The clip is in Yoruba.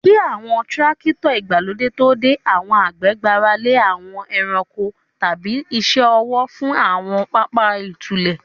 Kí àwọn Tírákítọ̀ ìgbàlódé tó dé, àwọn àgbẹ̀ gbára lé àwọn ẹranko tàbí iṣẹ́ ọwọ́ fún àwọn pápá ìtúlẹ̀.